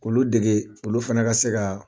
Olu dege olu fana ka se ka